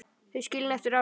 Þau skilin eftir árið.